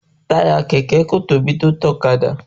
Táyà kẹ̀kẹ́ kò tóbi tó ti ọ̀kadà